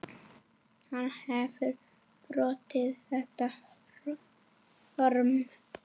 Hann hefur brotið þetta form.